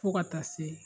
Fo ka taa se